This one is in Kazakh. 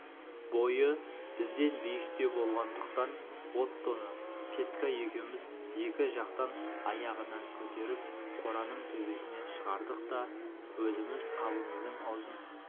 бойы бізден биіктеу болғандықтан оттоны петька екеуміз екі жақтан аяғынан көтеріп қораның төбесіне шығардық та өзіміз қабымыздың аузын